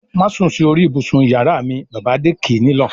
"Má sùn sí orí ibùsùn ìyàrá m!" Bàbá Adé kì í nílọ̀.